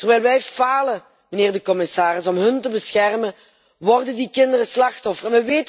Terwijl wij falen, mijnheer de commissaris, om hen te beschermen, worden die kinderen slachtoffer.